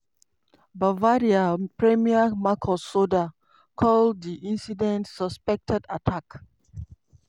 bavaria premier markus söder call di incident "suspected attack".